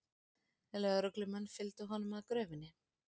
Lögreglumenn fylgdu honum að gröfinni